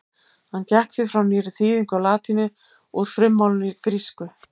Hann gekk því frá nýrri þýðingu á latínu úr frummálinu grísku.